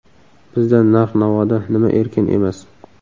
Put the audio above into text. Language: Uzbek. Bizda narx-navoda nima erkin emas?